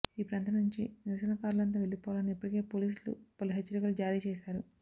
ఈ ప్రాంతం నుంచి నిరసనకారులంతా వెళ్లిపోవాలని ఇప్పటికే పోలీసులు పలు హెచ్చరికలు జారీ చేశారు